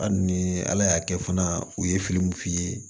Hali ni ala y'a kɛ fana u ye fili min f'i ye